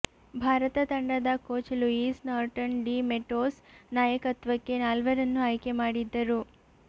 ಭಾರತ ತಂಡದ coach Luis Norton de Matos ನಾಯಕತ್ವಕ್ಕೆ ನಾಲ್ವರನ್ನು ಆಯ್ಕೆ ಮಾಡಿದ್ದರು